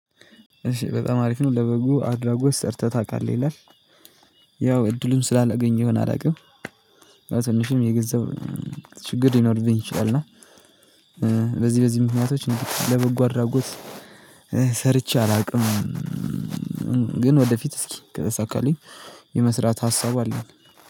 እሺ በጣም አሪፍ ነው ለበጉ አድራጎት ሰርተህ ታቃለህ ይላል። ያው እድሉን ስላላገኘሁኝ አላውቅም። በትንሽም የገንዘብ ችግር ሊኖርብኝ ይችላል። እና በዚህ በዚህ ምክንያቶች እንዴ ለበጎ አድራጎት ሰርቼ አላውቅም። ግን ወደፊት እስኪ ከተሳከልኝ የመስራት ሀሳቡ አለን